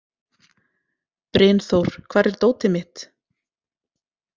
Brynþór, hvar er dótið mitt?